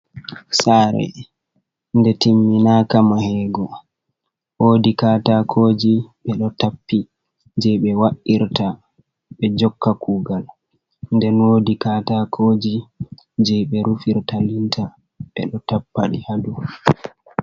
Saare nde timminaka mahego, woodi katakoji ɓe ɗo tappi jei ɓe wa’irta ɓe jokka kuugal nden woodi katakoji jei ɓe rufirta linta ɓe ɗo tappa ɗi ha dou.